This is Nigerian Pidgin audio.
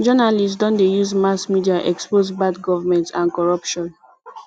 journalists don dey use mass media expose bad government and corruption